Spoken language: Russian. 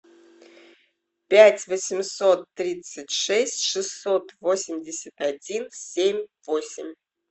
пять восемьсот тридцать шесть шестьсот восемьдесят один семь восемь